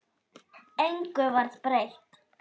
Engu varð breytt.